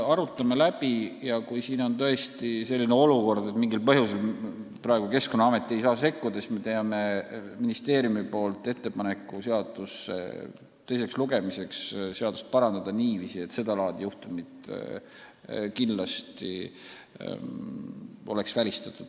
Arutame läbi ja kui on tõesti selline olukord, et mingil põhjusel praegu Keskkonnaamet ei saa sekkuda, siis ministeerium teeb ettepaneku seaduseelnõu teiseks lugemiseks parandada teksti niiviisi, et sedalaadi juhtumid oleks tulevikus kindlasti välistatud.